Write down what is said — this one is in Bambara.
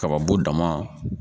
Kababo dama